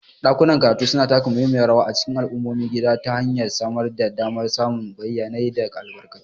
Ɗakunan karatu suna taka muhimmiyar rawa a cikin al'ummomin gida ta hanyar samar da damar samun bayanai da albarkatu.